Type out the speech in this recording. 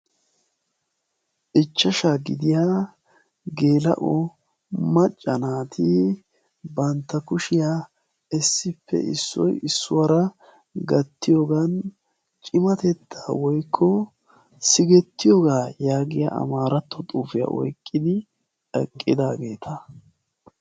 Ichchashshaa gidiyaa geela'o macca naati bantta kushshiyaa issippeissoy issuwaara gattiyoogan ciatettaa woykko sikettiyoogaa yaagiyaa maaratto xuufiyaa oyqqidi eqqidaageta.